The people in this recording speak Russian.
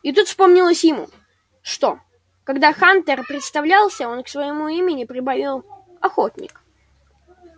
и тут вспомнилось ему что когда хантер представлялся он к своему имени прибавил охотник